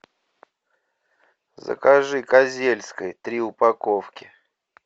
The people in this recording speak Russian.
закажи козельской три упаковки